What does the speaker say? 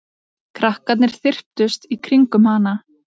Krakkarnir þyrptust í kringum hana.